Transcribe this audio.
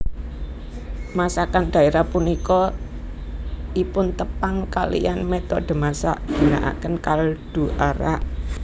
Masakan daerah punika ipuntepang kaliyan metode masak ginaaken kaldu arak